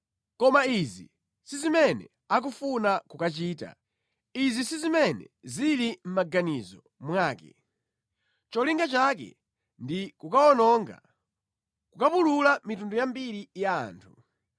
Koma izi si zimene akufuna kukachita, izi si zimene zili mʼmaganizo mwake; cholinga chake ndi kukawononga, kukapulula mitundu yambiri ya anthu.